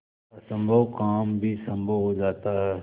असम्भव काम भी संभव हो जाता है